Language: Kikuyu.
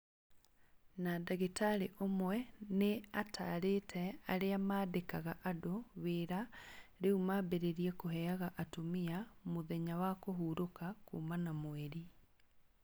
Na ndagĩtarĩ ũmwe nĩ ataarire arĩa maandĩkaga andũ wĩra rĩu mambĩrĩrie kũheaga atumia 'mũthenya wa kũhurũka kuuma na mweri'.